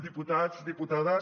diputats diputa·des